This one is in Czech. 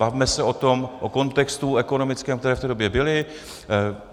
Bavme se o kontextu ekonomickém, který v té době byl.